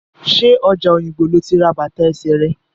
Ṣé ọjà Òyìngbò lo ti ra bàtà ẹsẹ rẹ̀?